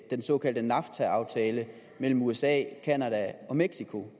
den såkaldte nafta aftale mellem usa canada og mexico